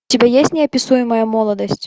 у тебя есть неописуемая молодость